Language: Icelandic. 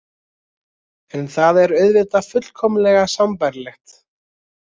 En það er auðvitað fullkomlega sambærilegt.